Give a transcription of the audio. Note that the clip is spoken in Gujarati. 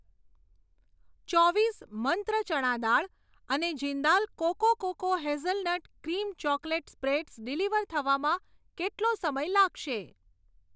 ચોવીસ મંત્ર ચણા દાળ અને Jindal cocoa cocoa hazelnut cream chocolate spreads deliver થવામાં કેટલો સમય લાગશે?